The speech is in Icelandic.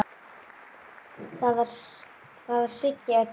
Það var Siggi Öddu.